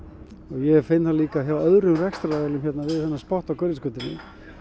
ég finn það líka hjá öðrum rekstraraðilum við þennan spotta hérna á Hverfisgötunni